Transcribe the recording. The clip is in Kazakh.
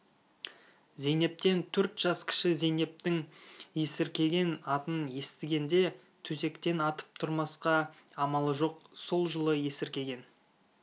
зейнептен төрт жас кіші зейнептің есіркеген атын естігенде төсектен атып тұрмасқа амалы жоқ сол жылы есіркеген